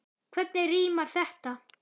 Hvernig rímar þetta?